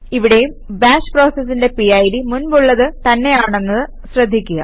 ഇവിടേയും ബാഷ് പ്രോസസിന്റെ പിഡ് മുൻപുള്ളത് തന്നെയാണെന്നത് ശ്രദ്ധിക്കുക